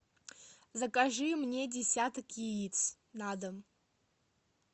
закажи мне десяток яиц на дом